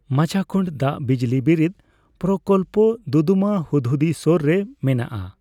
ᱢᱟᱪᱷᱟᱠᱩᱱᱰ ᱫᱟᱜ ᱵᱤᱡᱽᱞᱤ ᱵᱤᱨᱤᱫ ᱯᱨᱚᱠᱚᱞᱯᱚ ᱫᱩᱫᱩᱢᱟ ᱦᱩᱫᱽᱦᱩᱫᱤ ᱥᱳᱨ ᱨᱮ ᱢᱮᱱᱟᱜᱼᱟ ᱾